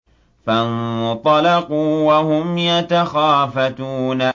فَانطَلَقُوا وَهُمْ يَتَخَافَتُونَ